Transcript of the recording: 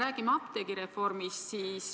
Räägime apteegireformist.